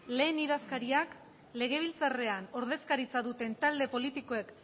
lehen idazkariak legebiltzarrean ordezkaritza duten talde politikoek